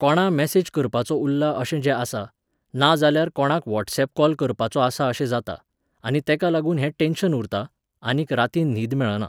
कोणा मॅसेज करपाचो उरला अशें जें आसा, नाजाल्यार कोणाक वॉट्सऍप कॉल करपाचो आसा अशें जाता, आनी तेका लागून हें टॅन्शन उरता, आनीक रातीन न्हीद मेळना